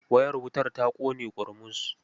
Wayar wutar ta ƙone ƙurmus.